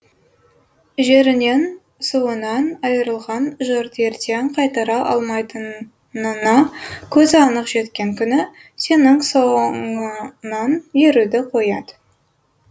жерінен суынан айырылған жұрт ертең қайтара алмайтынына көзі анық жеткен күні сенің соңыңнан еруді қояды